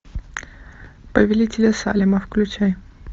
повелители салема включай